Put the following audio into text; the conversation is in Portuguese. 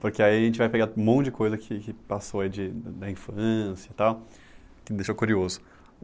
Porque aí a gente vai pegar um monte de coisa que que passou aí de da infância e tal, que deixou curioso.